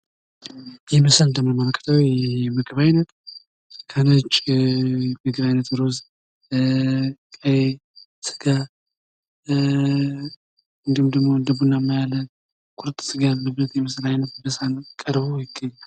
ይህ ምስል ደሞ የሚያመለክተው የህ የምግብ አይነት የነጭ አይነት እሩዝ ፣ ቀይ ስጋ ፣ እንዲሁም ደሞ እንደ ቡናማ ያለ ቁርጥ ስጋ ያለበት የምስል አይነት በሰሃን ነው ቀርቦ የሚገኝ።